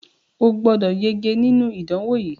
O gbọ́dọ̀ yege nínú ìdánwò yìí!